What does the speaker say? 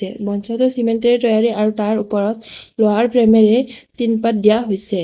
মঞ্চটো cement এৰে তৈয়াৰী আৰু তাৰ ওপৰত লোহাৰ ফ্ৰেম এৰে টিন পাত দিয়া হৈছে।